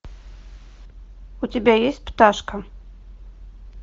у тебя есть пташка